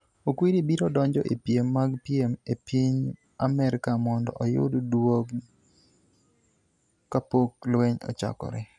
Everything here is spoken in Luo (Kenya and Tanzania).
Okwiri biro donjo e piem mag piem e piny Amerka mondo oyud duong' kapok lweny ochakore.